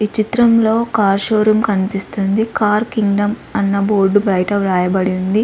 ఈ చిత్రంలో car show room కన్పిస్తుంది . కార్ కింగ్డమ్ ఆన్న బోర్డ్ బయట వ్రాయబడి ఉంది.